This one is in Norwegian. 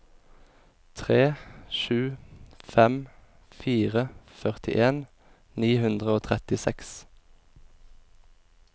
tre sju fem fire førtien ni hundre og trettiseks